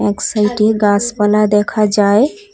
এক সাইডে গাছপালা দেখা যায়।